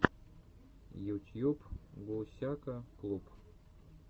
ютьюб гусяка клуб